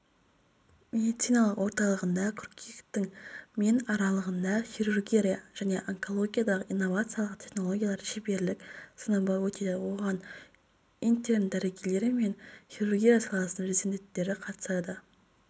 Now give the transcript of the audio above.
медициналық орталығында қыркүйектің мен аралығында хирургия және онкологиядағы инновациялық технологиялар шеберлік-сыныбы өтеді оған интерн-дәрігерлер мен хирургия саласының резиденттері қатысады